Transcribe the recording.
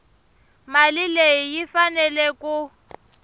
mali leyi yi faneleke ku